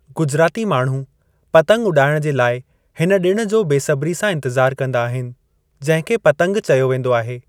गुजराती माण्हू पतंग उॾाइण जे लाइ हिन डि॒ण जो बेसब्री सां इंतजार कंदा आहिनि, जंहिं खे 'पतंग' चयो वेंदो आहे।